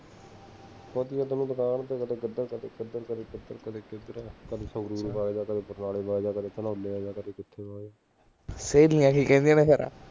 ਸੇਹ ਨਹੀਂ ਹੇਗੀ ਕਹਿੰਦੇ ਆ ਨਾ ਫੇਰ